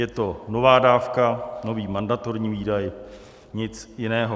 Je to nová dávka, nový mandatorní výdaj, nic jiného.